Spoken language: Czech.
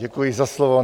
Děkuji za slovo.